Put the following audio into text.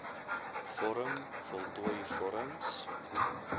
vorm voltooi vorms